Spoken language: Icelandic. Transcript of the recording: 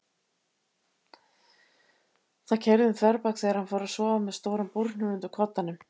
Það keyrði um þverbak þegar hann fór að sofa með stóran búrhníf undir koddanum.